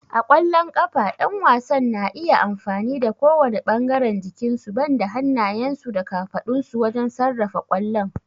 A ƙwallon ƙafa, ƴan wasan na iya amfani da kowane ɓangaren jikinsu banda hannayensu da kafadunsu wajen sarrafa kwallon.